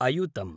अयुतम्